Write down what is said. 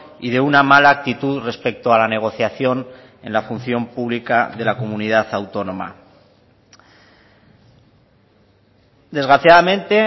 y de una mala actitud respecto a la negociación en la función pública de la comunidad autónoma desgraciadamente